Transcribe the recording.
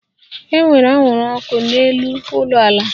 E nwere anwụrụ ọkụ n'elu ụlọala